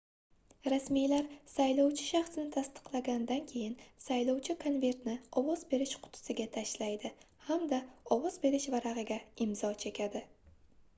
rasmiylar saylovchi shaxsini tasdiqlaganidan keyin saylovchi konvertni ovoz berish qutisiga tashlaydi hamda ovoz berish varagʻiga imzo chekadi